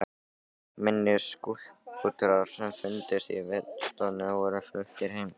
Minni skúlptúrar sem fundust í vinnustofunni voru fluttir heim.